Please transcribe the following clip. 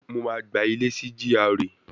Mo máa gba ilé sí GRA